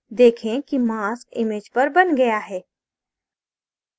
देखें कि mask image पर बन गया है